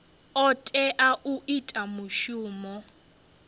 o tea u ita mushumo